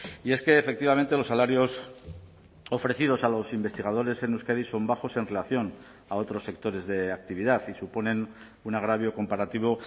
y es que efectivamente los salarios ofrecidos a los investigadores en euskadi son bajos en relación a otros sectores de actividad y suponen un agravio comparativo